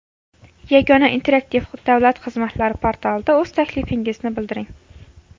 Yagona interaktiv davlat xizmatlari portalida o‘z taklifingizni bildiring.